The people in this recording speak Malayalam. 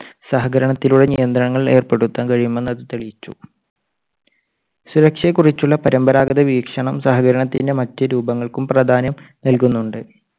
സഹകരണത്തിലൂടെ നിയന്ത്രണങ്ങൾ ഏർപ്പെടുത്താൻ കഴിയുമെന്ന് അത് തെളിയിച്ചു. സുരക്ഷയെക്കുറിച്ചുള്ള പരമ്പരാഗത വീക്ഷണം സഹകരണത്തിന്റെ മറ്റു രൂപങ്ങൾക്കും പ്രാധാന്യം നൽകുന്നുണ്ട്.